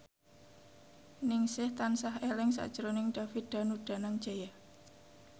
Ningsih tansah eling sakjroning David Danu Danangjaya